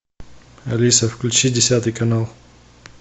алиса включи десятый канал